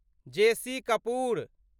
JC Kapoor